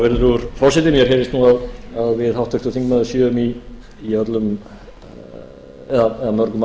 virðulegur forseti mér finnst nú að við háttvirtur þingmaður séum í öllum eða mörgum